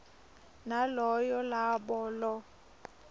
naloyo labo lo